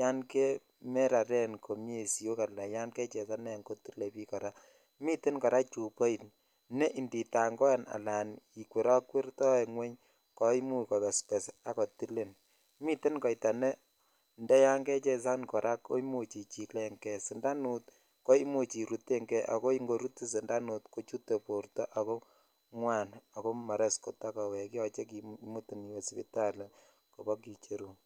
yangemeraren komie siok ana yangechesanen kotile biik kora, miten kora chuboit ne ndi tangoen anan ne ndi kwertokwetoen ngweny koimuch kobesbes akotilin, miten koita neyan kechesanen kora koimuch ichilengee, sindanut koimuch irutengee ako ingorutin sindanut kochute borto ngwan ako moroisi kotakowekee yoche kimutin iwe sipitali kobo kicherun.